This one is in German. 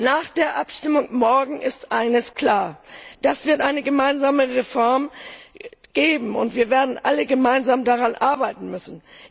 Nach der Abstimmung morgen ist eines klar Es wird eine gemeinsame Reform geben, und wir werden alle gemeinsam daran arbeiten müssen.